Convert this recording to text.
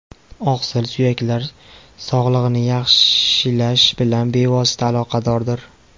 Oqsil suyaklar sog‘lig‘ini yaxshilash bilan bevosita aloqadordir.